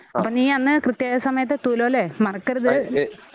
അപ്പോ നീ അന്ന് കൃത്യസമയത്ത് എത്തുവല്ലോലേ? മറക്കരുത്.